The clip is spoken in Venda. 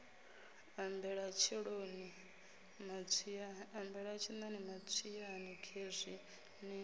ambela tshiṋoni matswiani khezwi ni